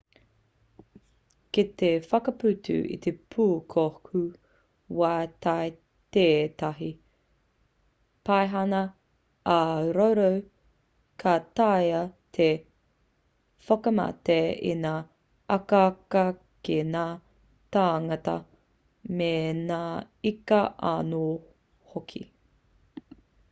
kei te whakaputa te pūkohu wai i tētahi paihana ā-roro ka taea te whakamate i ngā akaaka ki ngā tāngata me ngā ika anō hoki